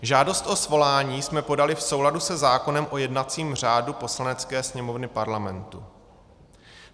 Žádost o svolání jsme podali v souladu se zákonem o jednacím řádu Poslanecké sněmovny Parlamentu.